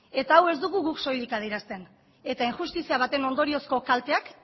eta hau ez dugu guk soilik adierazten eta injustizia baten ondoriozko kalteak